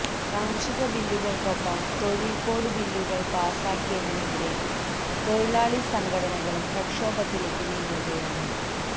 കാർഷിക ബില്ലുകൾക്കൊപ്പം തൊഴിൽ കോഡ് ബില്ലുകൾ പാസാക്കിയതിനെതിരെ തൊഴിലാളി സംഘടനകളും പ്രക്ഷോഭത്തിലേക്ക് നീങ്ങുകയാണ്